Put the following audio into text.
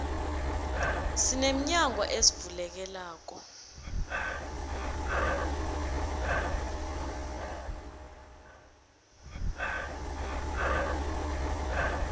sine minyango ezivulekelako